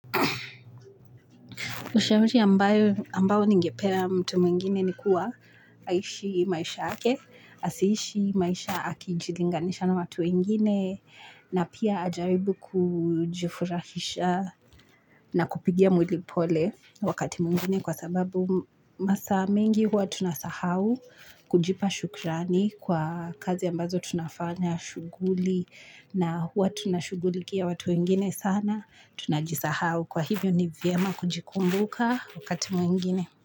Ushawishi ambao ningepea mtu mwingine ni kuwa aishi maisha yake, asiishi maisha akijilinganisha na watu wengine na pia ajaribu kujifurahisha na kupigia mwili pole wakati mwingine kwa sababu masaa mengi huwa tunasahau. Kujipa shukrani kwa kazi ambazo tunafanya shughuli na huwa tunashugulikia watu wengine sana tunajisahau. Kwa hivyo ni vyema kujikumbuka wakati mwingine.